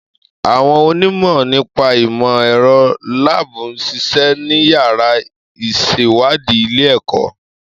Àwọn onímọ̀ nípa ìmọ̀ ẹ̀rọ lab ń ṣiṣẹ́ ní yàrá ìṣèwádìí ilé-ẹ̀kọ́